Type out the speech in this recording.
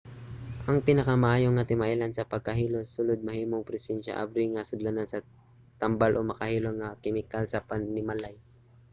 ang pinakamaayo nga timailhan sa pagkahilo sa sulod mahimong ang presensiya sa abri nga sudlanan sa tambal o makahilo nga mga kemikal sa panimalay